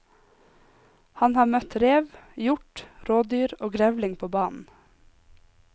Han har møtt rev, hjort, rådyr og grevling på banen.